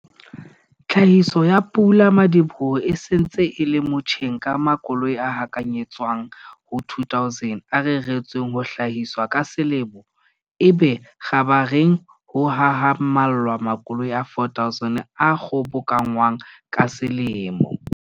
Tlhahiso ya pula-madiboho e se ntse e le motjheng ka makoloi a hakanyetswang ho 2 000 a reretsweng ho hlahiswa ka selemo, ebe kgabareng ho hahamallwa makoloing a 4 000 a kgobokanngwang ka selemo.